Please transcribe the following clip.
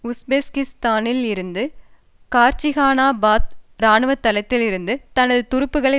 உஸ்பெகிஸ்தானில் இருந்த கார்சிகானாபாத் இராணுவத்தளத்திலிருந்து தனது துருப்புக்களை